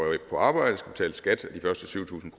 på arbejde skal betale skat af de første syv tusind